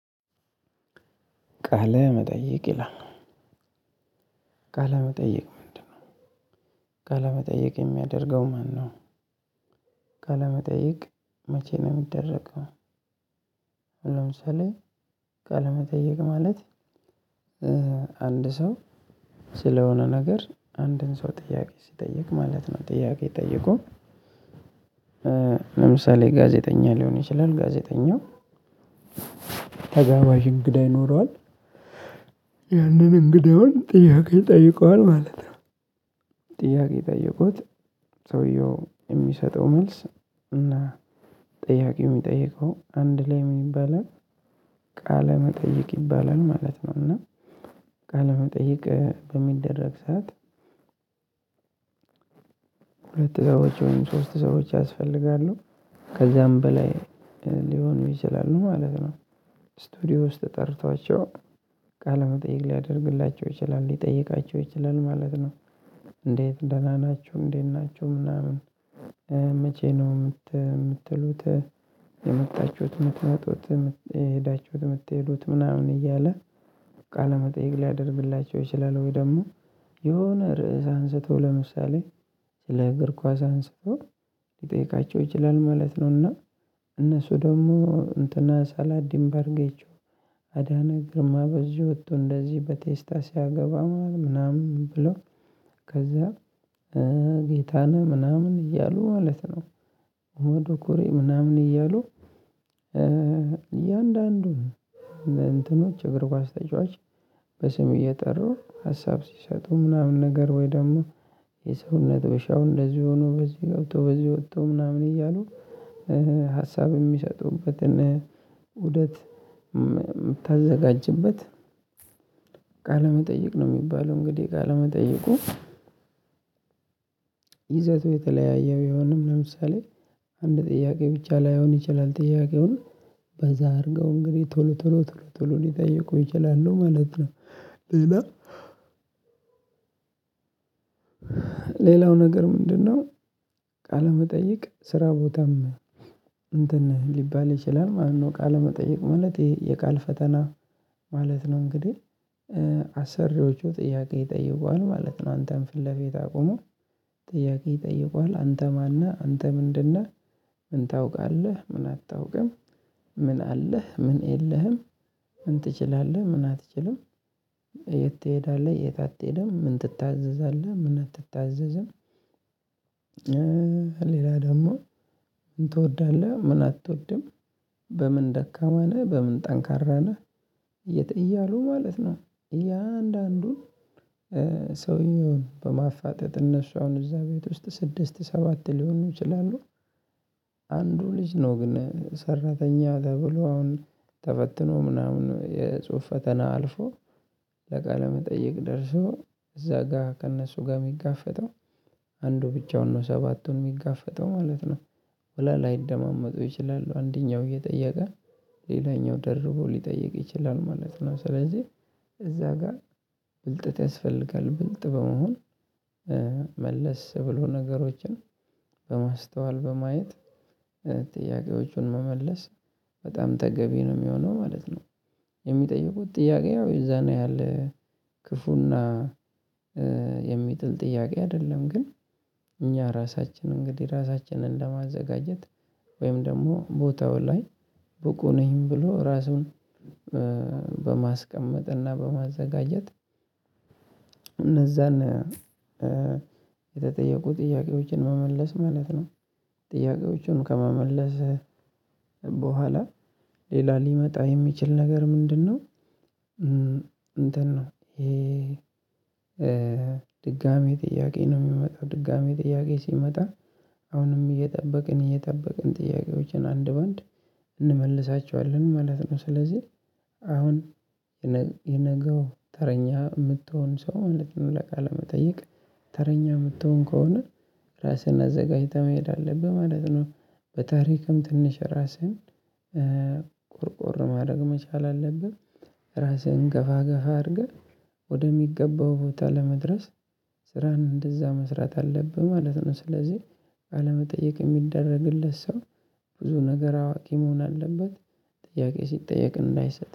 ቃለ መጠየቅ ይላል ቃለ መጠየቅ ምንድነው? የሚያደርገው ማነው ካለመጠየቅ መቼ ነው የሚደረገው? ለምሳሌ ቃለመጠየቅ ማለት አንድ ሰው ስለሆነ ነገር አንድን ሰው ጥያቄ ሲጠይቅ ማለት ነው። ጥያቄ ጠየቁ። ለምሳሌ ጋዜጠኛ ሊሆን ይችላል ጋዜጠኛው። ተጋባሽ እንግዳ ይኖረዋል ያንን እንግዳውን ጥያቄ ጠይቀዋል ማለት ነው። ጥያቄ ጠየቁት። ሰውየው የሚሰጠው መልስ እና ጥያቄ የሚጠይቀው አንድ ላይ ምን ይባላል? ቃለ መጠየቅ ይባላል ማለት ነው። እና ቃለ መጠየቅ በሚደረግ ሰዓት። ሁለት ሰዎች ወይም ሶስት ሰዎች ያስፈልጋሉ ከዛም በላይ ሊሆኑ ይችላሉ ማለት ነው። ስቱዲዮ ውስጥ ጠርቷቸው ቃለመጠየቅ ሊያደርግላቸው ይችላል ሊጠይቃቸው ይችላል ማለት ነው። እንዴት ደና ናቹ እንዴት ናቹ ምናምን። መቼ ነው ምትሉት የመጣችውት ምትመጡት የሄዳቹት ምትሄዱት ምናምን እያለ ቃለ መጠየቅ ሊያደርግላቸው ይችላል። ወይ ደሞ የሆነ ርዕስ አንስቶ ለምሳሌ ስለ እግር ኳስ አንስቶ ሊጠይቃቸው ይችላል ማለት ነውና። እነሱ ደግሞ እንትና ሰላዲን በርጌቾ አዳነ ግርማ በዚ ወቶ እንደዚ በቴስታ ሲያገባ ማለት ነው ምናምን ብሎ ከዛ ጌታነህ ምናምን እያሉ ማለት ነው። ኡመድ ኡኩሪ ምናምን እያሉ። እያንዳንዱን እንትኖች እግር ኳስ ተጫዋች በስም እየጠሩ ሀሳብ ሲሰጡ ምናምን ነገር ወይ ደሞ የሰውነት ቢሻው እንደዚህ ሆኖ በዚ ገብቶ በዚ ወጥቶ ምናምን እያሉ። ሀሳብ የሚሰጡበትን ውደት ምታዘጋጅበት ቃለመጠይቅ ነው ሚባለው እንግዲ። ቃለመጠይቁ ይዘቱ የተለያየ ቢሆንም ለምሳሌ አንድ ጥያቄ ብቻ ላይሆን ይችላል ጥያቄውን በዛ አድርገው እንግዲ ቶሎ ቶሎ ቶሎ ቶሎ ሊጠይቁ ይችላሉ ማለት ነው። ሌላ ሌላው ነገር ምንድነው? ቃለመጠይቅ ስራ ቦታም እንትን ሊባል ይችላል ማለት ነው። ቃለመጠይቅ ማለት የቃል ፈተና ማለት ነው። እንግዴ አሰሪዎቹ ጥያቄ ይጠይቁሃል ማለት ነው። አንተን ፍለፊት አቁመው ጥያቄ ይጠይቁሃል አንተ ማነህ አንተ ምንድነህ ምን ታውቃለህ ምን አታውቅም ምን አለህ ምን የለህም ምን ትችላለህ ምን አትችልም። የት ትሄዳለህ የት አትሄድም ምን ትታዘዛለህ ምን አትታዘዝም። ሌላ ደሞ ምን ትወዳለህ ምን አቶድም በምን ደካማ ነህ በምን ጠንካራ ነህ። እያሉ ማለት ነው። እያንዳንዱ ሰውን በማፋጠጥ እነሱ አሁን እዛ ቤት ውስጥ ስድስት ሰባት ሊሆኑ ይችላሉ። አንዱ ልጅ ነው ግን ሰራተኛ ተብሎ አሁን ተፈትኖ ምናምን የጽሁፍ ፈተና አልፎ ለቃለ መጠየቅ ደርሶ እዛ ጋ ከእነሱ ጋር ሚጋፈጠው አንዱ ብቻውን ነው ሰባቱን ሚጋፈጠው ማለት ነው። ወላ ላይደማመጡ ይችላሉ አንደኛው እየጠየቀ ሌላኛው ደርቦ ሊጠይቅ ይችላል ማለት ነው። ስለዚ እዛ ጋር ብልጠት ያስፈልጋል ብልጥ በመሆን መለስ ብሎ ነገሮችን በማስተዋል በማየት ጥያቄዎቹን መመለስ በጣም ተገቢ ነው ሚሆነው ማለት ነው። የሚጠይቁት ጥያቄ ያው የዛን ያህል ክፉና የሚጥል ጥያቄ አደለም ግን እኛ ራሳችን እንግዲ ራሳችንን ለማዘጋጀት ወይም ደሞ ቦታው ላይ ብቁ ነኝ ብሎ ራሱን እና በማዘጋጀት እነዛን የተጠየቁ ጥያቄዎችን መመለስ ማለት ነው። ጥያቄዎችን ከመመለስ በኋላ ሌላ ሊመጣ የሚችል ነገር ምንድነው? እንትን ነው የድጋሚ ጥያቄ ነው ሚመጣው ድጋሚ ጥያቄ ሲመጣ አሁንም እየጠበቅን እየጠበቅን ጥያቄዎችን አንድ በአንድ እንመልሳቸዋለን ማለት ነው። ስለዚ አሁን የነገው ተረኛ ምትሆን ሰው ማለት ነው ለቃለ መጠይቅ ተረኛ ምትሆን ከሆነ ራስህን አዘጋጅተህ መሄድ አለብህ ማለት ነው። በታሪክም ትንሽ ራስህን ቆርቆር ማረግ መቻል አለብን። ራስህን ገፋ ገፋ አድርገህ ወደሚገባው ቦታ ለመድረስ ስራን እንደዛ መስራት አለብህ ማለት ነው። ስለዚ ቃለ መጠየቅ የሚደረግለት ሰው ብዙ ነገር አዋቂ መሆን አለበት። ጥያቄ ሲጠየቅ እንዳይሰጥ